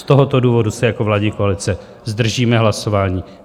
Z tohoto důvodu se jako vládní koalice zdržíme hlasování.